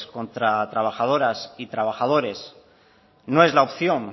contra trabajadoras y trabajadores no es la opción